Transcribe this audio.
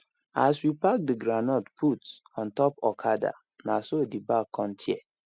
as we pack the groundnut put on top okada na so the bag con tear